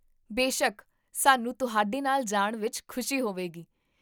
ਬੇਸ਼ੱਕ, ਸਾਨੂੰ ਤੁਹਾਡੇ ਨਾਲ ਜਾਣ ਵਿੱਚ ਖੁਸ਼ੀ ਹੋਵੇਗੀ